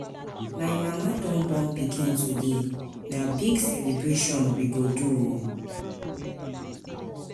My mama don born pikin today, na big celebration we go do o.